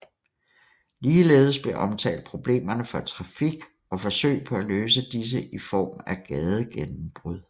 Ligeledes blev omtalt problemerne for trafik og forsøg på at løse disse i form af gadegennembrud